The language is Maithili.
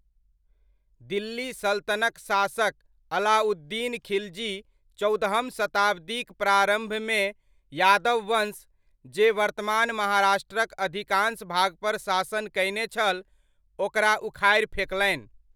दिल्ली सल्तनतक शासक अलाउद्दीन खिलजी चौदहम शताब्दिक प्रारम्भमे यादववंश, जे वर्तमान महाराष्ट्रक अधिकांश भागपर शासन कयने छल, ओकरा उखाड़ि फेकलनि।